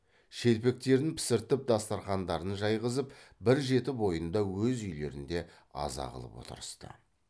шелпектерін пісіртіп дастарқандарын жайғызып бір жеті бойында өз үйлерінде аза қылып отырысты